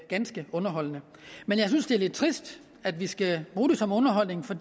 ganske underholdende men jeg synes det er lidt trist at vi skal bruge det som underholdning for